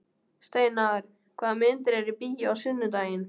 Steinar, hvaða myndir eru í bíó á sunnudaginn?